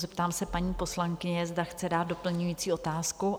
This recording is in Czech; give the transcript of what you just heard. Zeptám se paní poslankyně, zda chce dát doplňující otázku?